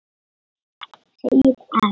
Segið EN.